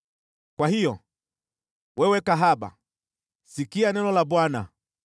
“ ‘Kwa hiyo, wewe kahaba, sikia neno la Bwana !